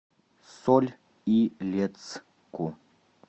соль илецку